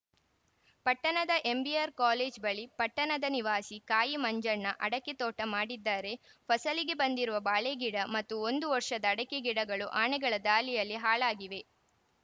ಪಟ್ಟಣದ ಎಂಬಿಆರ್‌ಕೋಲೇಜು ಬಳಿ ಪಟ್ಟಣದ ನಿವಾಸಿ ಕಾಯಿ ಮಂಜಣ್ಣ ಅಡಕೆ ತೋಟ ಮಾಡಿದ್ದಾರೆ ಫಸಲಿಗೆ ಬಂದಿರುವ ಬಾಳೆ ಗಿಡ ಮತ್ತು ಒಂದು ವರ್ಷದ ಅಡಕೆ ಗಿಡಗಳು ಆನೆಗಳ ದಾಳಿಯಲ್ಲಿ ಹಾಳಾಗಿವೆ